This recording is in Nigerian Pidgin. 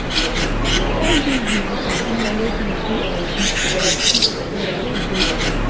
Na all dis my juju make me who I be today so I dey grateful